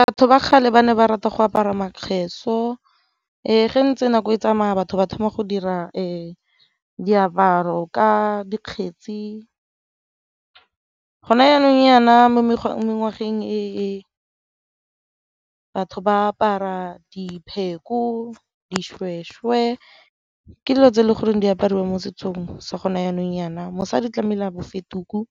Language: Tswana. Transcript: Batho ba kgale ba ne ba rata go apara , ee ge ntse nako e tsamaya batho ba thoma go dira diaparo ka dikgetsi, go na jaanong jana mo e e batho ba apara , dishweshwe ke dilo tse e le goreng di apariwa mo setsong sa gone janong jana. Mosadi tlamehile a bofe tuku,